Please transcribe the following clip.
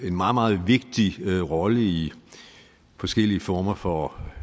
meget meget vigtig rolle i forskellige former for